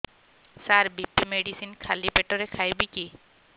ସାର BP medicine ଖାଲି ପେଟରେ ଖାଇବି କି